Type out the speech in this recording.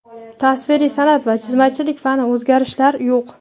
Tasviriy san’at va chizmachilik fani: o‘zgarishlar yo‘q.